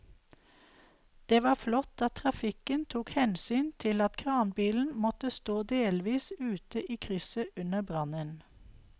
Det var flott at trafikken tok hensyn til at kranbilen måtte stå delvis ute i krysset under brannen.